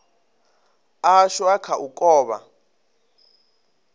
ashu a kha u kovha